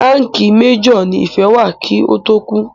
Ránkìì major ní Ìfẹ́ wà kí ó tó kú.